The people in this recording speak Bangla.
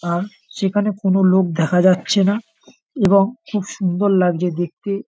আর সেখানে কোন লোক দেখা যাচ্ছে না এবং খুব সুন্দর লাগছে দেখতে ।